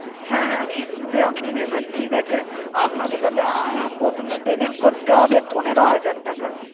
হ্যাঁ হ্যাঁ কিস্তিতে আপনি নেবেন ঠিক আছে। আপনাকে তাহলে আহ প্রথমে payment করতে হবে পনেরো হাজার টাকা।